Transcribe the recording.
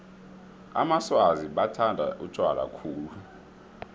amaswazi bathanda utjwala khulu